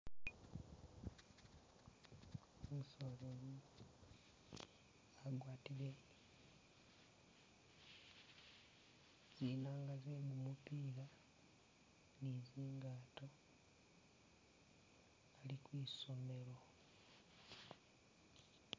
Umusoleli agwatile zinanga ze gumupila ni zingaato ali kwisomelo